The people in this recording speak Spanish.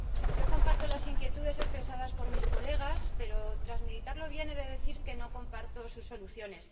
Yo comparto las inquietudes expresadas por mis colegas pero, tras meditarlo bien, he de decir que no comparto sus soluciones.